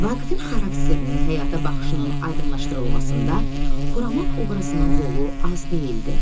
Vaqifin xarakterinin, həyata baxışının aydınlaşdırılmasında Xuraman obrazının rolu az deyildi.